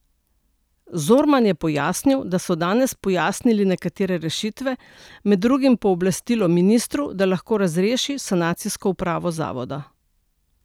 Zorman je pojasnil, da so danes pojasnili nekatere rešitve, med drugim pooblastilo ministru, da lahko razreši sanacijsko upravo zavoda.